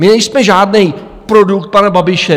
My nejsme žádný produkt pana Babiše.